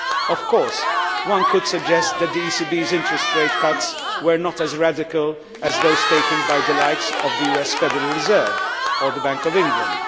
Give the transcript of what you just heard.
Of course, it could be suggested that the ECB's interest rate cuts were not as radical as those taken by the likes of the US Federal Reserve or the Bank of England.